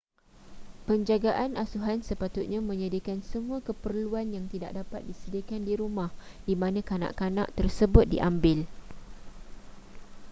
penjagaan asuhan sepatutnya menyediakan semua keperluan yang tidak dapat disediakan di rumah di mana kanak-kanak tersebut diambil